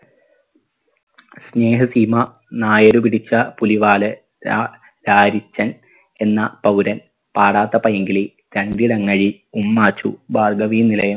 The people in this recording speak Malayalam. സ്നേഹസീമ നായര് പിടിച്ച പുലിവാല് രാ രാരിച്ചൻ എന്ന പൗരൻ പാടാത്ത പൈങ്കിളി ഉമ്മാച്ചു ഭാർഗ്ഗവീ നിലയം